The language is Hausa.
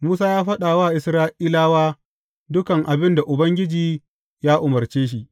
Musa ya faɗa wa Isra’ilawa dukan abin da Ubangiji ya umarce shi.